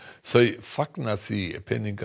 þau fagna því